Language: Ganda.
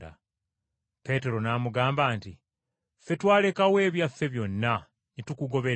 Peetero n’amugamba nti, “Ffe twalekawo ebyaffe byonna ne tukugoberera!”